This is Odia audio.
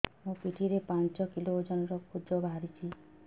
ମୋ ପିଠି ରେ ପାଞ୍ଚ କିଲୋ ଓଜନ ର କୁଜ ବାହାରିଛି